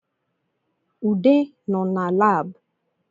Ude nọ na Lab